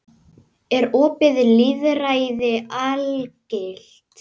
Er opið lýðræði algilt?